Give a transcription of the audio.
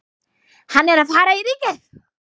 Hann er að fara í Ríkið!